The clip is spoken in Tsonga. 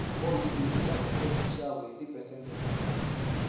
oyili yi tlakuse minxavo hi ti phesente tinharhu